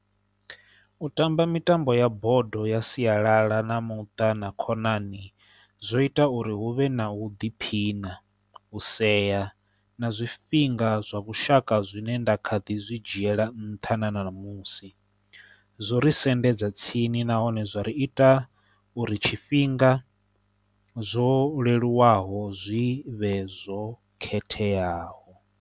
U tamba mitambo ya bodo ya sialala na muṱa na khonani zwo ita uri hu vhe na u ḓiphina, u sea na zwifhinga zwa vhushaka zwine nda kha ḓi zwi zwi dzhiela nṱha na ṋamusi. Zwo ri sendedza tsini nahone zwo ri ita uri tshifhinga zwo leluwaho zwi vhe zwo khetheaho.